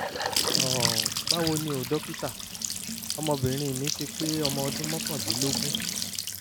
um báwo ni o dókítà? ọmọbìnrin mi ti pé ọmọ ọdún mọ́kàndínlógún